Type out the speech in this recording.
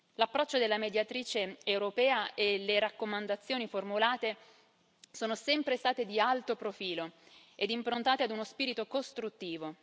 L'approccio della Mediatrice europea e le raccomandazioni formulate sono sempre stati di alto profilo e improntati ad uno spirito costruttivo.